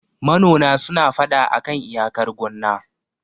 manona suna fada a kan iyakar gonna